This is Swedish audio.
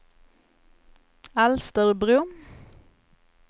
Alsterbro